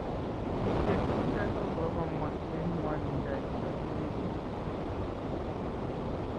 bik chetupcho ko komwa eng ngwanindo neo mising